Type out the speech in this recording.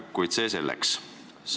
Kuid see selleks.